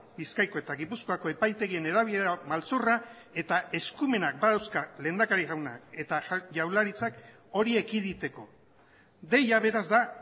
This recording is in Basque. bizkaiko eta gipuzkoako epaitegien erabilera maltzurra eta eskumenak badauzka lehendakari jaunak eta jaurlaritzak hori ekiditeko deia beraz da